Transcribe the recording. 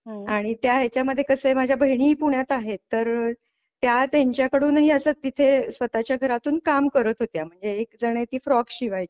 आणि त्या ह्याच्या मध्ये कसं आहे माझ्या बहिणी पुण्यात आहेत तर त्या त्यांच्याकडून हि असं तिथे स्वतः च्या घरातून काम करत होत्या. एकजण आहे ती फ्रॉक शिवायची.